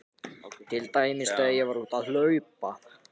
Til dæmis þegar ég var úti að hlaupa.